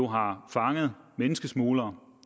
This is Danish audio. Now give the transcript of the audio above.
har fanget menneskesmuglere